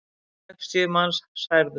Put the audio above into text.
Sextíu manns særðust.